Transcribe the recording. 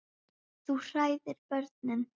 Þú hræðir börnin.